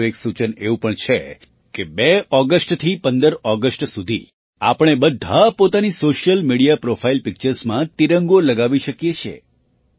મારું એક સૂચન એવું પણ છે કે ૨ ઑગસ્ટથી ૧૫ ઑગસ્ટ સુધી આપણે બધાં પોતાની સૉશિયલ મિડિયા પ્રૉફાઇલ પિક્ચર્સમાં તિરંગો લગાવી શકીએ છીએ